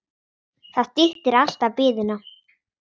Það styttir alltaf biðina.